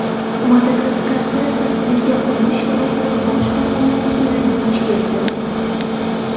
Madagaskarda tasvirga olish guruhi boshqa muammoga duch keldi.